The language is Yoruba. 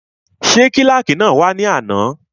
Ṣé kílàkì náà wá ní àná?